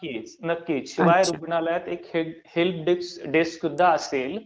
नक्कीच. नक्कीच. शिवाय रुग्णालयात एक हेल्प डेस्क सुद्धा असेल